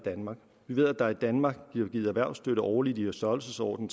danmark vi ved at der i danmark bliver givet erhvervsstøtte årligt i en størrelsesorden